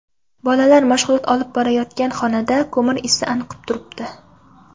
Bolalar mashg‘ulot olib borayotgan xonada ko‘mir isi anqib turibdi.